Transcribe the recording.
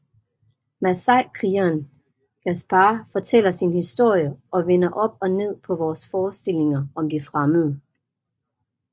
Masaikrigeren Gaspar fortæller sin historie og vender op og ned på vores forestillinger om de fremmede